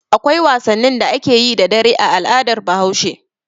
Akwai wasannin da ake yi da dare a al'adar Bahaushe.